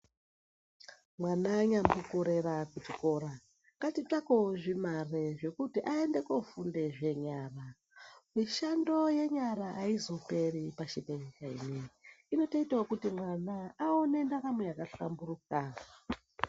Mwana anyambokorera kuchikora ngatitsvakewo zvimare zvekuti aende kofundawo zvenyara mishando yenyara aizoperi pashi pezuwa inotoitawo kuti mwana awonewo ndaramo yakahlamburuka.